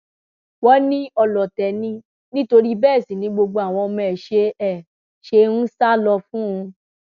wọn ní ọlọtẹ ni nítorí bẹẹ sì ni gbogbo àwọn ọmọ ẹ ṣe ẹ ṣe ń sá lọ fún un